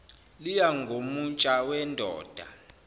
liya ngomutsha wendoda